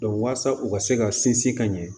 walasa u ka se ka sinsin ka ɲɛ